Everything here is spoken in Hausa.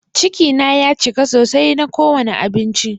Ciki na ya cika sosai na ko wani abinci.